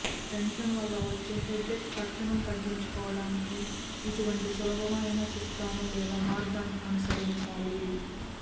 tension వల్ల వచ్చే headache తక్షణం తగ్గించుకోవడానికి ఇటువంటి సులభమైన చిట్కాను లేదా మార్గాన్ని అనుసరించాలి